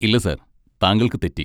ഇല്ല സർ താങ്കൾക്ക് തെറ്റി.